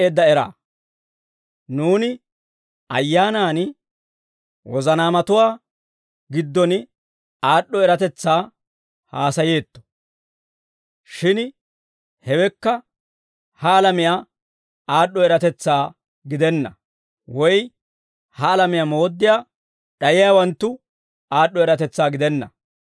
Nuuni ayyaanan wozanaamatuwaa giddon aad'd'o eratetsaa haasayeetto. Shin hewekka ha alamiyaa aad'd'o eratetsaa gidenna; woy ha alamiyaa mooddiyaa d'ayiyaawanttu aad'd'o eratetsaa gidenna.